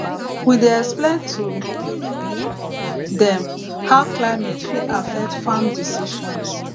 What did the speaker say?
we dey explain to dem how climate fit affect farm decisions